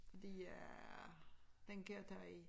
Fordi jeg den kan jeg tage i